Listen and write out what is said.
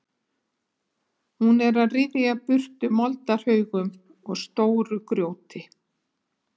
Hún er að ryðja burtu moldarhaugum og stóru grjóti.